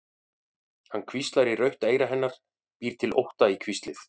Hann hvíslar í rautt eyra hennar, býr til ótta í hvíslið.